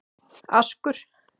Askur